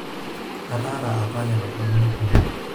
ataara apa lelo tung'anak oleng'